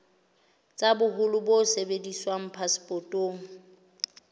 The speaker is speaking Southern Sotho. tsa boholo bo sebediswang phasepotong